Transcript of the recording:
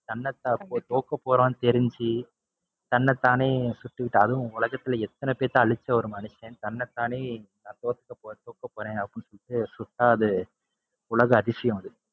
தோக்கப்போறோம்ன்னு தெரிஞ்சு, தன்னை தானே சுட்டுகிட்டு அதுவும் உலகத்துல எத்தனை பேத்த அழிச்ச ஒரு மனுஷன். தன்னை தானே தோக்கப்போ~ தோக்கபோறேன்னு அப்படின்னு சொல்லிட்டு சுட்டா அது உலக அதிசயம் அது.